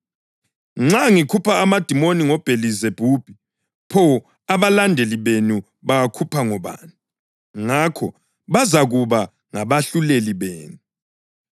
Nxa ngikhupha amadimoni ngoBhelizebhubhi, pho abalandeli benu bawakhupha ngobani? Ngakho, bazakuba ngabahluleli benu.